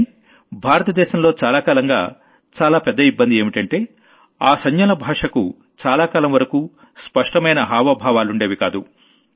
కానీ భారత దేశంలో చాలా కాలంగా చాలా పెద్ద ఇబ్బంది ఏంటంటే ఆ సంజ్ఞల భాషకు చాలా కాలం వరకూ స్పష్టమైన హావభావాలుండేవికావు